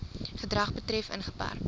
gedrag betref ingeperk